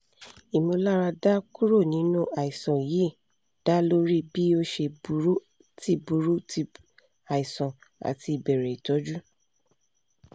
imularada kuro ninu aisan yii da lori bi o ṣe buru ti buru ti aisan ati ibẹrẹ itọju